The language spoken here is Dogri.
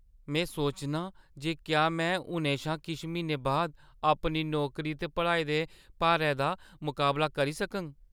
में सोचनां जे क्या में हुनै शा किश म्हीनें बाद अपनी नौकरी ते पढ़ाई दे भारे भारै दा मकाबला करी सकङ।